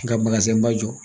Nka ba jɔ